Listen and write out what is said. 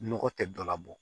Nɔgɔ tɛ dɔ la bɔ